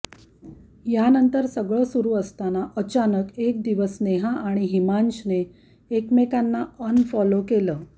यानंतर सगळं सुरू असताना अचानक एक दिवस नेहा आणि हिमांशने एकमेकांना अनफॉलो केलं